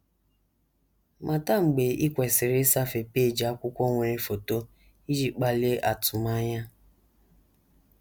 Mata mgbe i kwesịrị ịsafe peeji akwụkwọ nwere foto iji kpalie atụmanya.